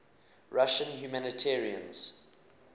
russian humanitarians